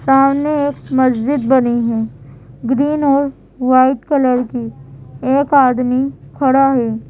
सामने एक मस्जिद बनी है ग्रीन और वाइट कलर की एक आदमी खड़ा है।